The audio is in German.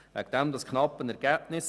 Deshalb das knappe Ergebnis.